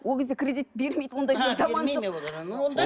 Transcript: ол кезде кредит бермейді ондай заман жоқ